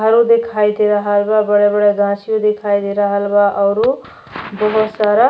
घरो देखाई दे रहल बा। बड़ा-बड़ा गाच्छियों दिखाई दे बा औरु दुगो सर --